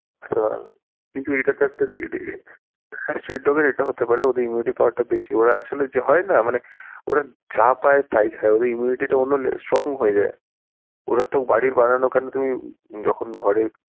কিন্তু এটা তো একটা এটা, হ্যাঁ street dog এর এটাও হতে পারে ওদের immunity power টা বেশি ওরা আসলে হয় না মানে ওরা যা পায় তাই খায় তাই ওদের immunity টা অন্য strong হয়ে যায় ওরা তো বাড়ির বানানো কারন যখন তুমি ঘরে,